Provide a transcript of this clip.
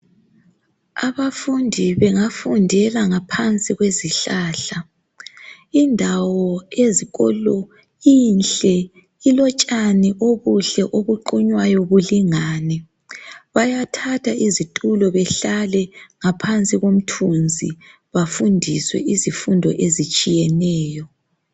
Abafundi bengafundela ngaphansi kwezihlahla. Indawo ezikolo inhle ilotshani obuhle obuqunywayo bulingane. Bayathatha izitulo behlale ngaphansi komthunzi bafundiswe izifundo ezitshiyeneyo.